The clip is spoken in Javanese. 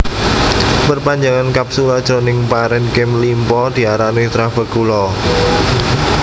Perpanjangan kapsula jroning parenkim limpa diarani trabekula